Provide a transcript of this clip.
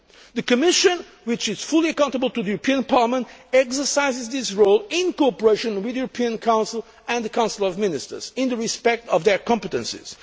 The Commission, which is fully accountable to the European Parliament, exercises this role in cooperation with the European Council and the Council of Ministers, in respect of their competences.